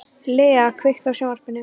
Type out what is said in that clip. Lea, kveiktu á sjónvarpinu.